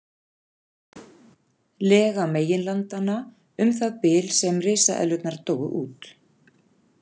Lega meginlandanna um það bil sem risaeðlurnar dóu út.